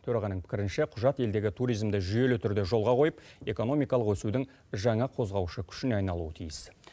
төрағаның пікірінше құжат елдегі туризмді жүйелі түрде жолға қойып экономикалық өсудің жаңа қозғаушы күшіне айналуы тиіс